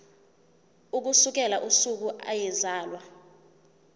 ukusukela usuku eyazalwa